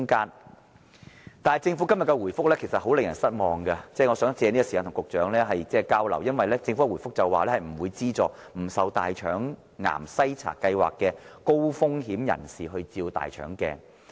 然而，政府今天的回覆令人很失望，我想藉着這個時間與局長作交流，因為政府在回覆中說不會資助不受大腸癌篩查先導計劃覆蓋的高風險人士接受大腸鏡檢查。